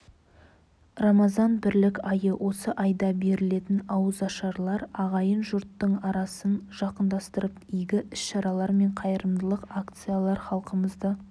рамазан бірлік айы осы айда берілетін ауызашарлар ағайын-жұрттың арасын жақындастырып игі іс-шаралар мен қайырымдылық акциялар халқымызды